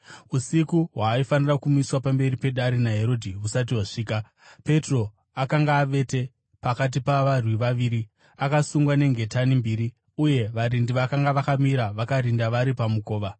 Usiku hwaaifanira kumiswa pamberi pedare naHerodhi husati hwasvika, Petro akanga avete pakati pavarwi vaviri, akasungwa nengetani mbiri, uye varindi vakanga vakamira vakarinda vari pamukova.